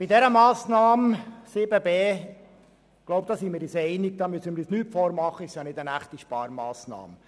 Ich glaube, wir sind uns einig und müssen uns nicht vormachen, dass es sich bei der Massnahme zu 7.b nicht um eine echte Sparmassnahme handelt.